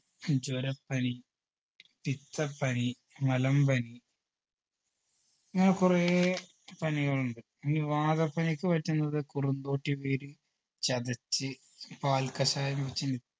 ജുരപ്പനി പിത്തപ്പനി മലമ്പനി ഇങ്ങനെ കുറേ പനികളുണ്ട് ഈ വാദപ്പനിക്ക് പറ്റുന്നത് കുറുന്തോട്ടി വേര് ചതച്ച് പാൽ കഷായം വെച്